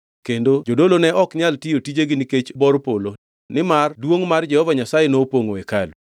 kendo jodolo ne ok nyal tiyo tijegi nikech bor polo nimar duongʼ mar Jehova Nyasaye nopongʼo hekalu.